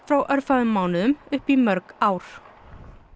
frá örfáum mánuðum upp í mörg ár